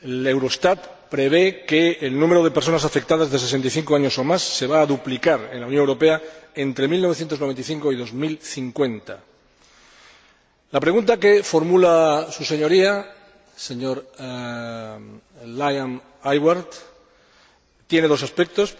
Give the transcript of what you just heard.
Eurostat prevé que el número de personas afectadas de 65 años o más se va a duplicar en la Unión Europea entre 1995 y 2050. La pregunta que formula su Señoría, señor Liam Aylward, tiene dos aspectos.